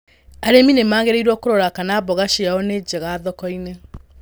Arĩmĩ nĩ magĩrĩirwo kũrora kana mboga ciao nĩ njega thoko-inĩ.